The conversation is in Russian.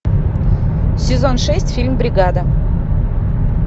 сезон шесть фильм бригада